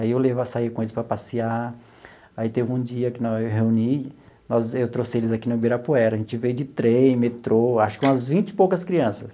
Aí eu levo a sair com eles para passear, aí teve um dia que nós eu reuni, eu trouxe eles aqui no Ibirapuera, a gente veio de trem, metrô, acho que umas vinte e poucas crianças.